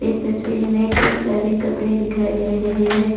तस्वीर में कई सारे कपड़े दिखाई दे रहे हैं।